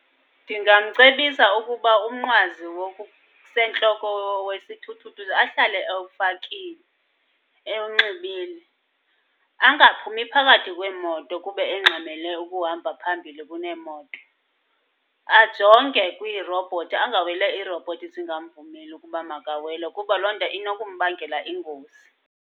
Ndingamcebisa ukuba umnqwazi wokusentloko wesithuthuthu ahlale ewufakile, ewunxibile. Angaphumi phakathi kweemoto kube engxamele ukuhamba phambili kuneemoto. Ajonge kwiirobhothi, angaweli iirobhothi zingamvumeli ukuba makawele kuba loo nto inokumbangela ingozi.